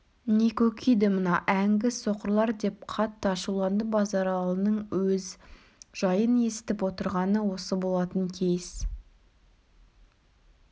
не көкиді мынау әңгі соқырлар деп қатты ашуланды базаралының өз жайын есітіп отырғаны осы болатын кейіс